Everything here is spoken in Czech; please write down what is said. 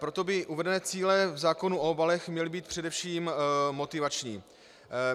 Proto by uvedené cíle v zákonu o obalech měly být především motivační.